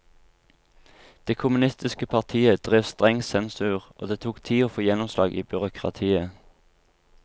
Det kommunistiske partiet drev streng sensur, og det tok tid å få gjennomslag i byråkratiet.